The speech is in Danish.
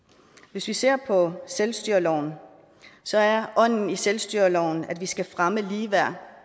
hvis vi ser på selvstyreloven så er ånden i selvstyreloven at vi skal fremme ligeværd